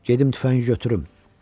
Gedim tüfəngimi götürüm!